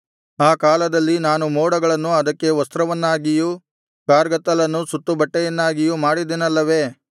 ಆ ಕಾಲದಲ್ಲಿ ನಾನು ಮೋಡಗಳನ್ನು ಅದಕ್ಕೆ ವಸ್ತ್ರವನ್ನಾಗಿಯೂ ಕಾರ್ಗತ್ತಲನ್ನು ಸುತ್ತುಬಟ್ಟೆಯನ್ನಾಗಿಯೂ ಮಾಡಿದೆನಲ್ಲವೆ